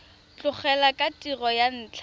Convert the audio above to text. tlogela tiro ka ntlha ya